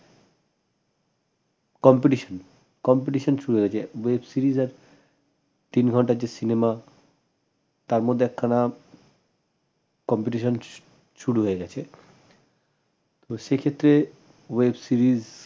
competition শুরু হয়েছে web series আর তিন ঘন্টার যে cinema তার মধ্যে একখানা competition শুরু হয়ে গেছে তো সেক্ষেত্রে web series